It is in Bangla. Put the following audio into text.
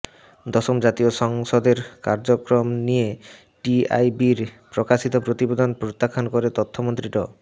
দশম জাতীয় সংসদের কার্যক্রম নিয়ে টিআইবির প্রকাশিত প্রতিবিদন প্রত্যাখান করে তথ্যমন্ত্রী ড